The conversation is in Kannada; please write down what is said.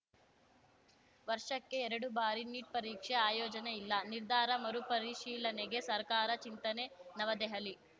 ವರ್ಷಕ್ಕೆ ಎರಡು ಬಾರಿ ನೀಟ್‌ ಪರೀಕ್ಷೆ ಆಯೋಜನೆ ಇಲ್ಲ ನಿರ್ಧಾರ ಮರುಪರಿಶೀಲನೆಗೆ ಸರ್ಕಾರ ಚಿಂತನೆ ನವದೆಹಲಿ